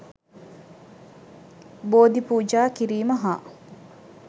බෝධි පූජා කිරීම හා